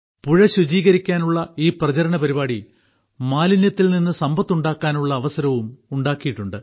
പുഴ ശുചീകരിക്കാനുള്ള ഈ പ്രചരണ പരിപാടി മാലിന്യത്തിൽ നിന്ന് സമ്പത്തുണ്ടാക്കാനുള്ള അവസരവും ഉണ്ടാക്കിയിട്ടുണ്ട്